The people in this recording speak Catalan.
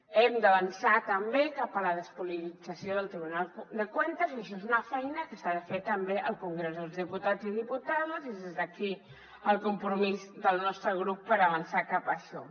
hem d’avançar també cap a la despolitització del tribunal de cuentas i això és una feina que s’ha de fer també al congrés dels diputats i diputades i des d’aquí el compromís del nostre grup per avançar cap a això